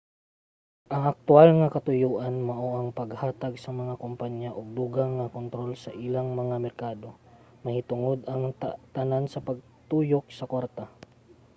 ang aktuwal nga katuyoan mao ang paghatag sa mga kompanya og dugang nga kontrol sa ilang mga merkado; mahitungod ang tanan sa pagtuyok sa kwarta